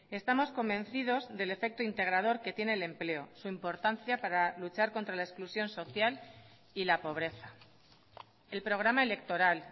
estamos convencidos del efecto integrador que tiene el empleo su importancia para luchar contra la exclusión social y la pobreza el programa electoral